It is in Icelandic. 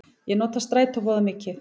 Ég nota strætó voða mikið.